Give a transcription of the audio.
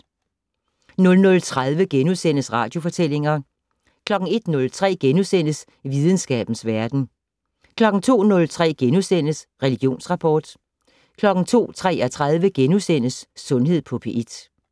00:30: Radiofortællinger * 01:03: Videnskabens Verden * 02:03: Religionsrapport * 02:33: Sundhed på P1 *